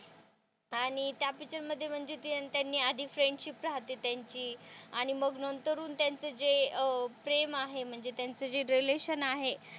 आणि त्या पिक्चर मध्ये म्हणजे त्यांनी आधी फ्रेंडशिप रहाते त्यांची आणि मग नंतर हुन त्यांचे जे प्रेम आहे म्हणजे त्यांचं जे रिलेशनशिप आहे.